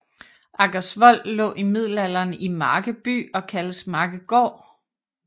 Aggersvold lå i middelalderen i Marke by og kaldtes Markegaard